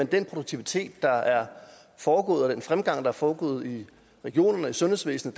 den produktivitet der er foregået og den fremgang der er foregået i regionerne og i sundhedsvæsenet